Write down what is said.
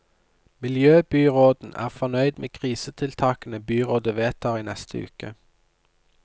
Miljøbyråden er fornøyd med krisetiltakene byrådet vedtar i neste uke.